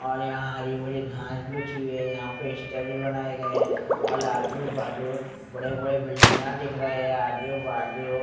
और यहां हरी भरी घास रखी गई है यहां पे स्टेपिस बनाए गए है बड़े बड़े बिल्डिंगा दिख रहे हैं आजू बाजू--